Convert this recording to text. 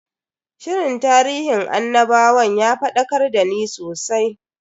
Shirin tarihin annabawan ya fadakar dani sosai.